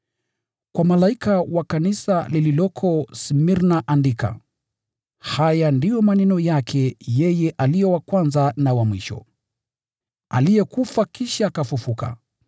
“Kwa malaika wa kanisa lililoko Smirna andika: “Haya ndiyo maneno yake yeye aliye wa Kwanza na wa Mwisho, aliyekufa kisha akafufuka.